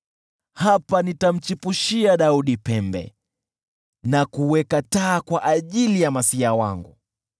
“Hapa nitamchipushia Daudi pembe, na kuweka taa kwa ajili ya masiya wangu.